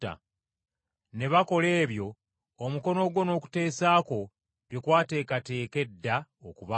ne bakola ebyo omukono gwo n’okuteesa kwo bye kwateekateeka edda okubaawo.